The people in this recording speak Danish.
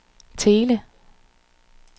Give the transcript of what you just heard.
Thele